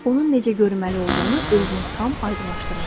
Onun necə görünməli olduğunu özünə tam aydınlaşdırmışdı.